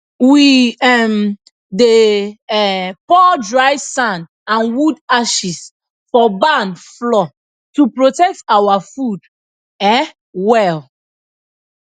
we um dey um pour dry sand and wood ashes for barn floor to protect our food um well